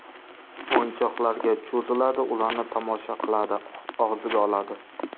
O‘yinchoqlarga cho‘ziladi, ularni tomosha qiladi, og‘ziga oladi.